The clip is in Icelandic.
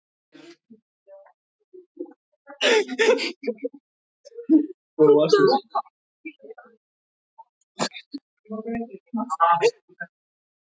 Það sá þig ekki nokkur maður!